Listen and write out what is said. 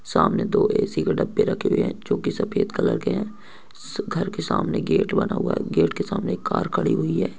सामने दो ए.सी. के डब्बे रखे हुए हैं जो की सफेद कलर के हैं घर के सामने गेट बना हुआ है गेट के सामने एक कार खड़ी हुई है।